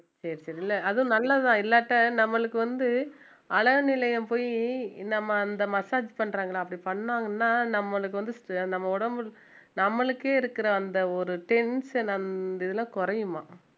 சரி சரி இல்ல அதுவும் நல்லதுதான் இல்லாட்டா நம்மளுக்கு வந்து அழகு நிலையம் போயி நம்ம அந்த massage பண்றாங்களே அப்படி பண்ணாங்கன்னா நம்மளுக்கு ச~ வந்து நம்ம உடம்பு நம்மளுக்கே இருக்கிற அந்த ஒரு tension அந்த இதுல குறையுமா